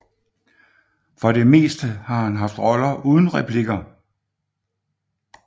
For det meste har han haft roller uden replikker